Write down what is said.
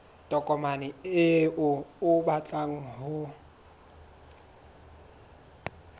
tokomane eo o batlang ho